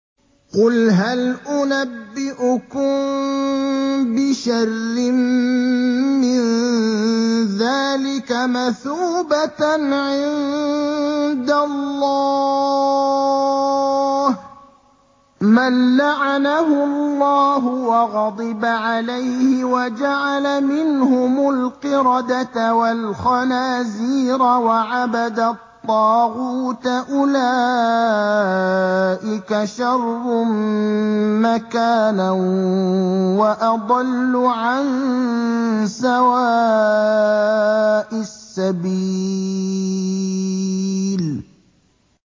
قُلْ هَلْ أُنَبِّئُكُم بِشَرٍّ مِّن ذَٰلِكَ مَثُوبَةً عِندَ اللَّهِ ۚ مَن لَّعَنَهُ اللَّهُ وَغَضِبَ عَلَيْهِ وَجَعَلَ مِنْهُمُ الْقِرَدَةَ وَالْخَنَازِيرَ وَعَبَدَ الطَّاغُوتَ ۚ أُولَٰئِكَ شَرٌّ مَّكَانًا وَأَضَلُّ عَن سَوَاءِ السَّبِيلِ